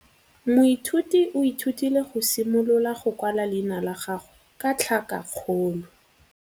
Moithuti o ithutile go simolola go kwala leina la gagwe ka tlhakakgolo.